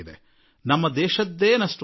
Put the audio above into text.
ನಮ್ಮ ದೇಶದ್ದೇ ಆಗಿದೆ